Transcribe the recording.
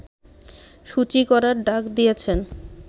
শুচি করার ডাক দিয়েছেন